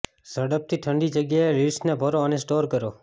ઝડપથી ઠંડી જગ્યાએ લિડ્સને ભરો અને સ્ટોર કરો